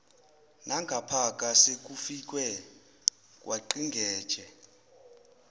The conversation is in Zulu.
nangapha sekufikwe kwangqingetshe